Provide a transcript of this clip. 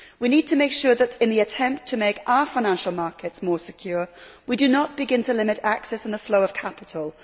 We need to make sure that, in the attempt to make our financial markets more secure, we do not begin to limit access on the flow of capital.